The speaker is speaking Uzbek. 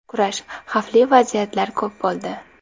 Kurash, xavfli vaziyatlar ko‘p bo‘ldi.